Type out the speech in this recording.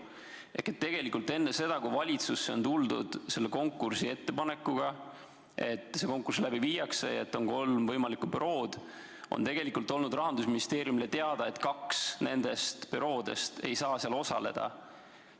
Ehk tegelikult enne seda, kui selle konkursiettepanekuga valitsusse tuldi – sellega, et konkurss läbi viiakse ja et on kolm võimalikku bürood –, oli Rahandusministeeriumile teada, et nendest büroodest kaks ei saa osaleda.